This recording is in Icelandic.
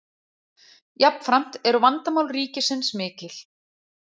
Jafnframt eru vandamál ríkisins mikil.